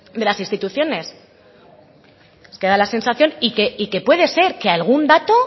de las instituciones nos queda la sensación y que puede ser que algún dato